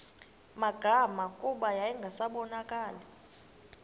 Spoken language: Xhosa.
magama kuba yayingasabonakali